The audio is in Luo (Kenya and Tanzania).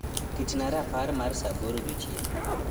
ketna rapar mar saa aboro odiochieng